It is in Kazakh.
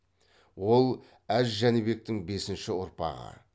ол әз жәнібектің бесінші ұрпағы